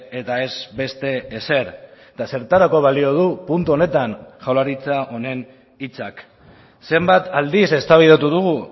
eta ez beste ezer eta zertarako balio du puntu honetan jaurlaritza honen hitzak zenbat aldiz eztabaidatu dugu